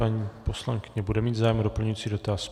Paní poslankyně bude mít zájem o doplňující dotaz.